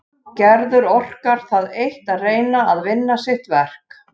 Gerður orkar það eitt að reyna að vinna sitt verk.